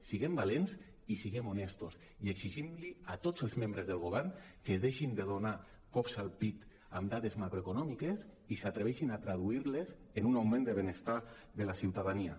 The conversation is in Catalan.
siguem valents i siguem honestos i exigim a tots els membres del govern que es deixin de donar cops al pit amb dades macroeconòmiques i s’atreveixin a traduir·les en un augment de benestar de la ciutadania